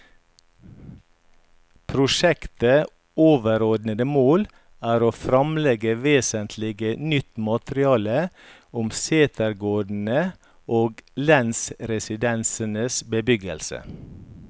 Prosjektets overordede mål er å fremlegge vesentlig nytt materiale om setegårdene og lensresidensenes bebyggelse.